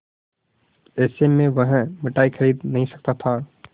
ऐसे में वह मिठाई खरीद नहीं सकता था